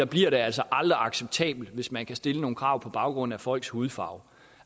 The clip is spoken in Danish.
bliver det altså aldrig acceptabelt hvis man kan stille nogle krav på baggrund af folks hudfarve